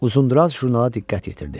Uzundraz jurnala diqqət yetirdi.